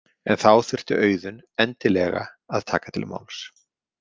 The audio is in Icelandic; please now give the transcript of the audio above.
En þá þurfti Auðunn endilega að taka til máls.